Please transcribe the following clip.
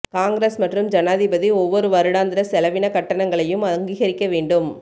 காங்கிரஸ் மற்றும் ஜனாதிபதி ஒவ்வொரு வருடாந்திர செலவின கட்டணங்களையும் அங்கீகரிக்க வேண்டும்